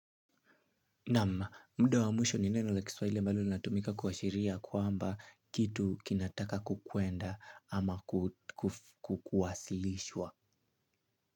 Naam muda wa mwisho ni neno la kiswahili mbalo linatumika kuashiria kwamba kitu kinataka kukwenda ama kukuwasilishwa.